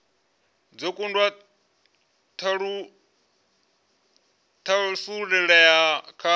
dzo kunda u thasululea kha